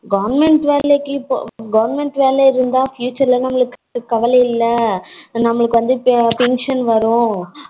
government வேலைக்கு government வேல இருந்தா future ல நமக்கு கவல இல்ல நமக்கு வந்து pension வரும்